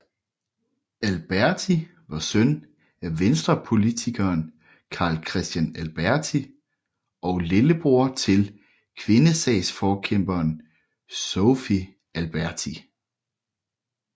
Alberti var søn af Venstrepolitikeren Carl Christian Alberti og lillebror til kvindesagsforkæmperen Sophie Alberti